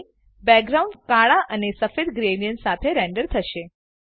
હવે બેકગ્રાઉન્ડ કાળા અને સફેદ ગ્રેડીએન્ટ સાથે રેન્ડર થશે